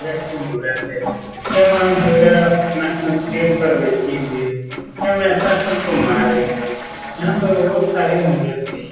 की मूरत है यह मां दुर्गा शेर पर बैठी हुई है यह महिषासुर को मार रही है यहाँ पर और सारे मूरत भी --